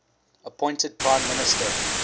appointed prime minister